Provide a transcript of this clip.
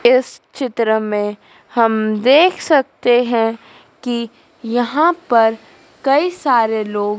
इस चित्र में हम देख सकते है कि यहां पर कई सारे लोग--